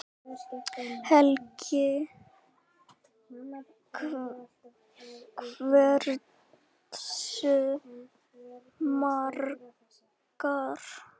Helga: Hversu margar?